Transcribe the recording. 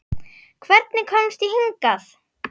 Hvernig komst ég hingað?